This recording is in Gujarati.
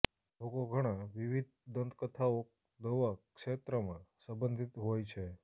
લોકો ઘણા વિવિધ દંતકથાઓ દવા ક્ષેત્રમાં સંબંધિત હોય છે